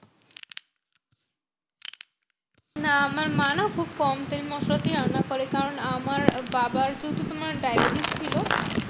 না আমার মা না খুব কম তেল মশলাতেই রান্না করে। কারণ আমার বাবার তো তোমার diabetes ছিল।